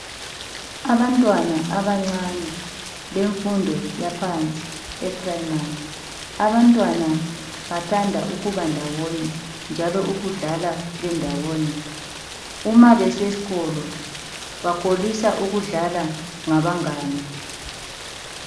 Abantwana abancane bemfundo yaphansi (eprayimari). Abantwana bathanda ukuba ndawonye njalo ukudlala bendawonye. Uma beseskolo bakholisa ukudlala labangane.